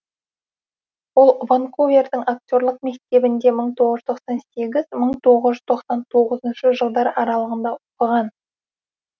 ол ванкувердің актерлік мектебінде мың тоғыз жүз тоқсан сегіз мың тоғыз жүз тоқсан тоғызыншы жылдар аралығында оқыған